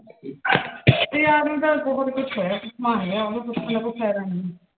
ਦੱਸਿਆ ਤਾਂ ਹੈਗਾ ਉਹਨੂੰ ਪੁੱਛਣ ਦਾ ਕੋਈ ਫਾਇਦਾ ਨੀਂ।